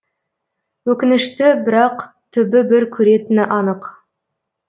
өкінішті бірақ түбі бір көретіні анық